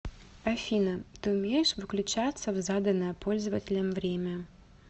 афина ты умеешь выключаться в заданное пользователем время